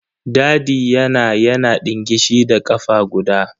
Dadi yana yana ɗingishi da ƙafa guda.